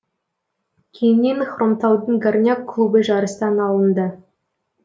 кейіннен хромтаудың горняк клубы жарыстан алынды